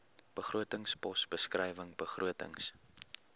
begrotingspos beskrywing begrotings